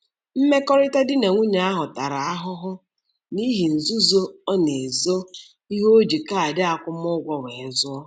Mmekọrịta di na nwunye ahụ tara ahụhụ n'ihi nzuzo ọ na-ezo ihe o ji kaadị akwụmụgwọ wee zụọ.